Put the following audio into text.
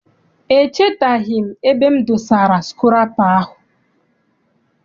Echetaghị m ebe m dosara sukụrapa m.